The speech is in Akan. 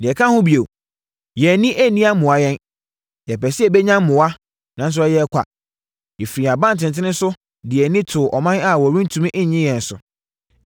Deɛ ɛka ho bio, yɛn ani anni ammoa yɛn, yɛpɛɛ sɛ yɛbɛnya mmoa, nanso ɛyɛɛ ɔkwa; yɛfiri yɛn abantenten so de yɛn ani too ɔman a wɔrentumi nnye yɛn so.